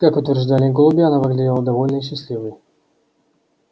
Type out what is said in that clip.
как утверждали голуби она выглядела довольной и счастливой